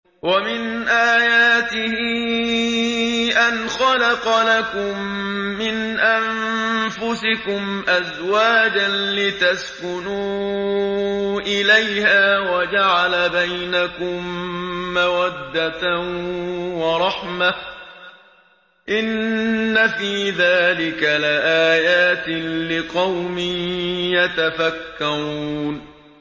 وَمِنْ آيَاتِهِ أَنْ خَلَقَ لَكُم مِّنْ أَنفُسِكُمْ أَزْوَاجًا لِّتَسْكُنُوا إِلَيْهَا وَجَعَلَ بَيْنَكُم مَّوَدَّةً وَرَحْمَةً ۚ إِنَّ فِي ذَٰلِكَ لَآيَاتٍ لِّقَوْمٍ يَتَفَكَّرُونَ